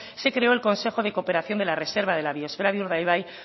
se creó el consejo de cooperación de la reserva de la biosfera de urdaibai